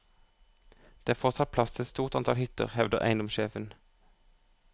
Det er fortsatt plass til et stort antall hytter, hevder eiendomssjefen.